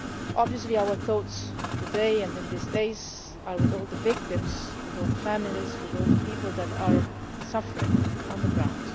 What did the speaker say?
Obviously our thoughts today and in these days are with all the victims, with all the families, with all the people that are suffering on the ground.